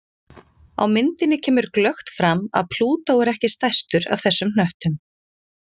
Á myndinni kemur glöggt fram að Plútó er ekki stærstur af þessum hnöttum.